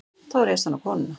Þá réðst hann á konuna.